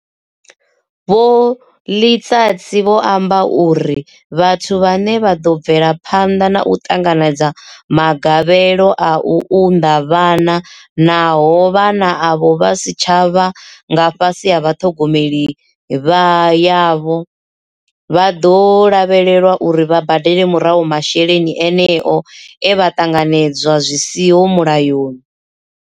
Vho Letsatsi vho amba uri vhathu vhane vha bvela phanḓa na u ṱanganedza magavhelo a u unḓa vhana naho vhana avho vha si tsha vha nga fhasi ha ṱhogomelo yavho, vha ḓo lavhelelwa uri vha badele murahu masheleni eneo e vha a ṱanganedza zwi siho mulayoni.